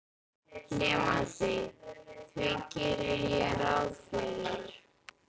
Nemandi: Því geri ég ráð fyrir